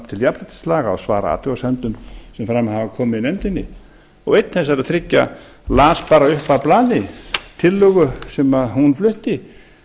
til jafnréttislaga og svara athugasemdum sem fram hafa komið í nefndinni einn þessara þriggja las bara upp af blaði tillögu sem hún flutti